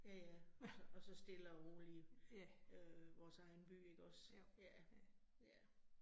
Ja ja, og så og så stille og roligt øh vores egen by ikke også. Ja, ja